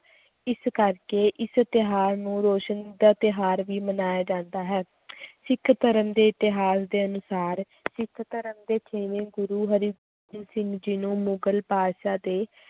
ਇਸ ਕਰਕੇ ਇਸ ਤਿਉਹਾਰ ਨੂੰ ਰੋਸ਼ਨੀ ਦਾ ਤਿਉਹਾਰ ਵੀ ਮਨਾਇਆ ਜਾਂਦਾ ਹੈ ਸਿੱਖ ਧਰਮ ਦੇ ਇਤਿਹਾਸ ਦੇ ਅਨੁਸਾਰ ਸਿੱਖ ਧਰਮ ਦੇ ਛੇਵੇਂ ਗੁਰੂ ਹਰਿ~ ਸਿੰਘ ਜੀ ਨੂੰ ਮੁਗ਼ਲ ਬਾਦਸ਼ਾਹ ਦੇ